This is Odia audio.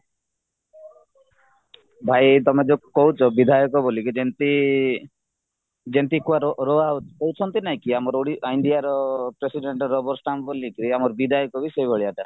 ଭାଇ ତମେ ଯୋଉ କହୁଚ ବିଧାୟକ ବୋଲିକି ଯେମିତି ହଉଛନ୍ତି ଆମ Indiaର president ରବର ଷ୍ଟାଣ୍ଡ ଭଳିକି ଆମର ବିଧାୟକବି ସେଈ ଭଳିଆ ଟା